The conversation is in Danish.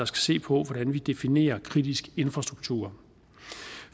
skal se på hvordan vi definerer kritisk infrastruktur